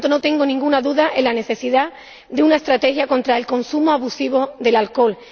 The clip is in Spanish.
Por lo tanto, no tengo ninguna duda sobre la necesidad de una estrategia contra el consumo abusivo de alcohol.